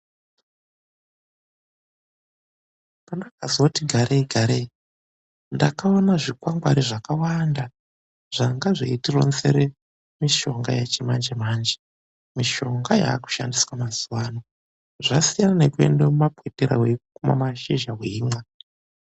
PANDAKAZOTI GAREI GAREI NDAKAONA ZVIKWANGWARI ZVAKAWANDA ZVANGA ZVEITIRONZERA MISHONGA YEMANJEMANJE. MISHONGA YAKUSHANDISWA MAZUWA ANO. ZVASIYANA NEKUENDA KUMABWITIRA WEIKUMA MASHIZHA WEIMWA.